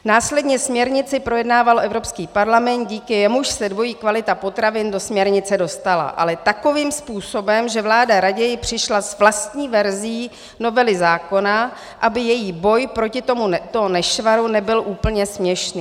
Následně směrnici projednával Evropský parlament, díky jemuž se dvojí kvalita potravin do směrnice dostala, ale takovým způsobem, že vláda raději přišla s vlastní verzí novely zákona, aby její boj proti tomuto nešvaru nebyl úplně směšný.